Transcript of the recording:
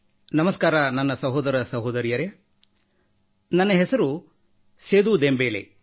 ನಮಸ್ಕಾರ ನನ್ನ ಸಹೋದರ ಸಹೋದರಿಯರೇ ನನ್ನ ಹೆಸರು ಸೇದೂ ದೆಂಬೇಲೆ